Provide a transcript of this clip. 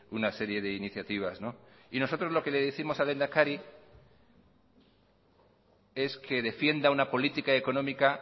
una serie de iniciativas y nosotros lo que le décimos al lehendakari es que defienda una política económica